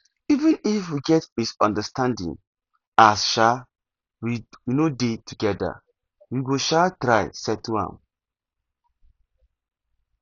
even if we get misunderstanding as um we no dey together we go um try settle am